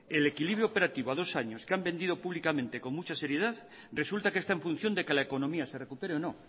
el equilibrio operativo a dos años que han vendido públicamente con mucha seriedad resulta que está en función de que la economía se recupere o no